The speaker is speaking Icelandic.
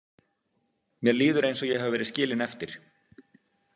Mér líður eins og ég hafi verið skilin eftir.